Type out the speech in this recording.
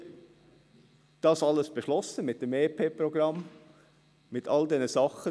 Wir haben all das hier mit dem EP-Programm beschlossen, mit all diesen Sachen.